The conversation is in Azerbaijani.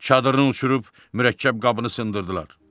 Çadırını uçurub mürəkkəb qabını sındırdılar.